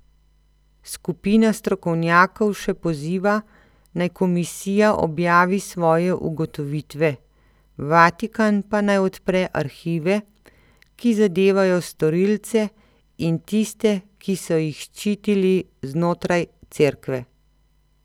Skupina strokovnjakov še poziva, naj komisija objavi svoje ugotovitve, Vatikan pa naj odpre arhive, ki zadevajo storilce in tiste, ki so jih ščitili znotraj Cerkve.